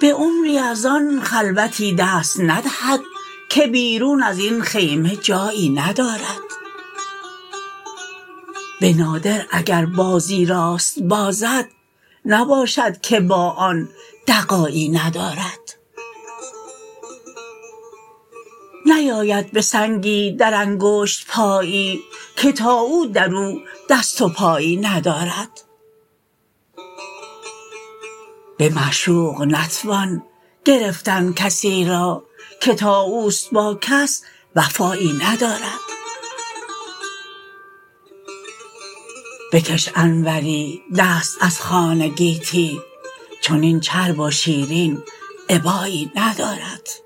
به عمری از آن خلوتی دست ندهد که بیرون از این خیمه جایی ندارد به نادر اگر بازی راست بازد نباشد که با آن دغایی ندارد نیاید به سنگی در انگشت پایی که تا او درو دست و پایی ندارد به معشوق نتوان گرفتن کسی را که تا اوست با کس وفایی ندارد بکش انوری دست از خوان گیتی چنین چرب و شیرین ابایی ندارد